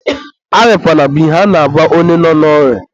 arịakwana bụ ihe a na-agwa onye nọ n'orịa.